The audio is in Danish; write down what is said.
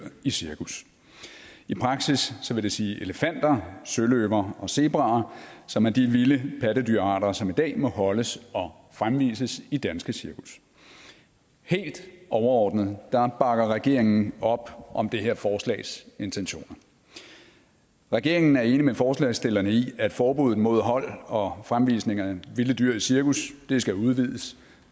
i cirkus i praksis vil det sige elefanter søløver og zebraer som er de vilde pattedyrarter som i dag må holdes og fremvises i danske cirkus helt overordnet bakker regeringen op om det her forslags intentioner regeringen er enig med forslagsstillerne i at forbuddet mod hold og fremvisning af vilde dyr i cirkus skal udvides